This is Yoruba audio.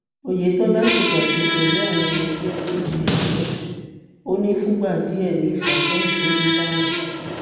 oyetola ṣèpàdé pẹlú àwọn ọmọ ẹgbẹ apc lọsùn ò ní fúngbà díẹ ní ìfàsẹyìn tó dé bá àwọn